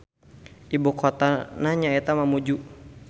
Ibukotana nyaeta Mamuju.